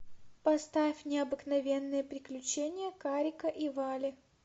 поставь необыкновенные приключения карика и вали